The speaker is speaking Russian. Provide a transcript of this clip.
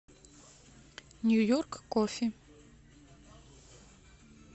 нью йорк кофи